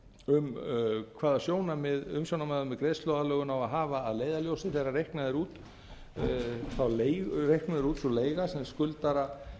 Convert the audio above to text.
um hvaða sjónarmið umsjónarmaður með greiðsluaðlögun á að hafa að leiðarljósi þegar reiknuð er út sú leiga sem skuldara